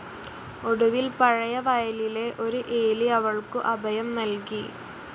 ഒടുവിൽ പഴയ വയലിലെ ഒരു എലി അവൾക്കു അഭയം നൽകി.